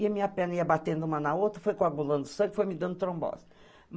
E a minha perna ia batendo uma na outra, foi coagulando sangue, foi me dando trombose.